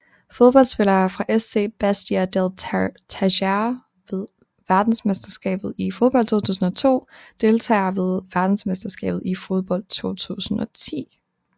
Fodboldspillere fra SC Bastia Deltagere ved verdensmesterskabet i fodbold 2002 Deltagere ved verdensmesterskabet i fodbold 2010